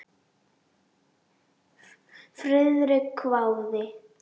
Friðrik hváði.